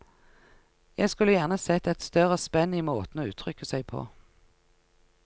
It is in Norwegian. Jeg skulle gjerne sett et større spenn i måten å uttrykke seg på.